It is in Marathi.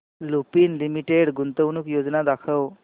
लुपिन लिमिटेड गुंतवणूक योजना दाखव